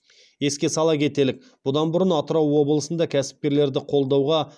еске ала кетелік бұдан бұрын атырау облысында кәсіпкерлерді қолдауға